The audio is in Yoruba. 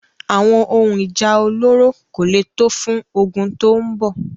Àwọn ohun Ìjà olóró kò lè tó fún ogun tó ń bọ̀.